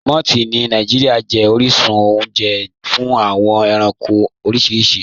Mọ̀ths ni Nigeria jẹ̀ oríṣun ọ̀unje fún awọn ẹ̀ránkò oríṣiríṣì.